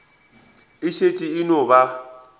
e šetše e no ba